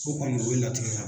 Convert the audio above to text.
Fo ka n'o de latigɛ